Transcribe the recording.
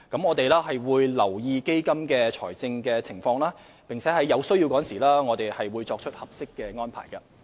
我們會留意基金的財政情況，並在有需要時作出合適的安排。